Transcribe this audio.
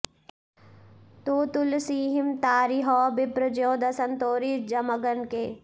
तो तुलसिहिं तारिहौ बिप्र ज्यों दसन तोरि जमगनके